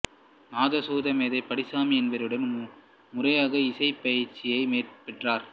நாதசுர மேதை பைடிசாமி என்பவரிடம் முறையாக இசைப் பயிற்சியைப் பெற்றார்